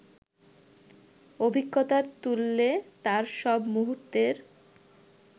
অভিজ্ঞতার তুল্যে তার সব মুহূর্তের